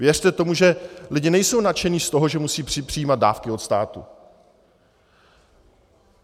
Věřte tomu, že lidé nejsou nadšení z toho, že musejí přijímat dávky od státu.